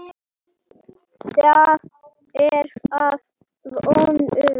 Það er að vonum.